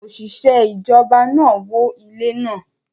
Oṣiṣẹ ijọba naa wó ile naa